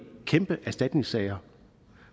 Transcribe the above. kæmpe erstatningssager